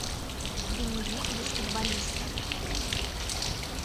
дневник баскетболиста